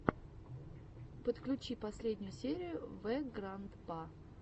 подключи последнюю серию вэграндпа